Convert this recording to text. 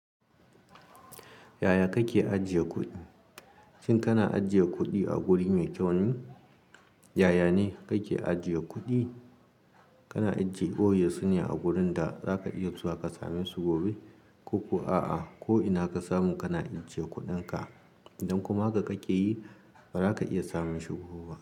Yaya kake ajiye kuɗi? Shin kana ajiye kuɗi a guri mai kyau ne? Yaya ne kake ajiye kuɗi? Kana ajiye boye su ne a gurin da zaka iya zuwa ka same su gobe, ko kuwa a'a? Ko ina ka samu kana ajiye kuɗinka, idan kuma haka ka keyi, ba za ka iya samun shi gobe ba.